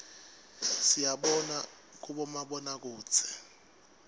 siyibona kubomabonakudze